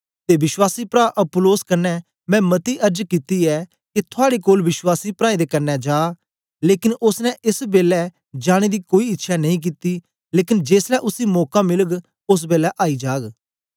ते विश्वासी प्रा अपुल्लोस कन्ने मैं मती अर्ज कित्ती ऐ के थुआड़े कोल विश्वासी प्राऐं दे कन्ने जा लेकन ओसने एस बेलै जाने दी कोई इच्छ्यां नेई कित्ती लेकन जेसलै उसी मौका मिलग ओस बेलै आई जाग